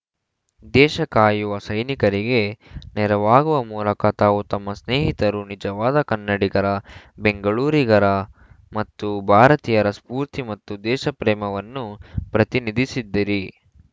ದೇಶ ಕಾಯುವ ಸೈನಿಕರಿಗೆ ನೆರವಾಗುವ ಮೂಲಕ ತಾವು ತಮ್ಮ ಸ್ನೇಹಿತರು ನಿಜವಾದ ಕನ್ನಡಿಗರ ಬೆಂಗಳೂರಿಗರ ಮತ್ತು ಭಾರತೀಯರ ಸ್ಫೂರ್ತಿ ಮತ್ತು ದೇಶಪ್ರೇಮವನ್ನು ಪ್ರತಿನಿಧಿಸಿದ್ದಿರಿ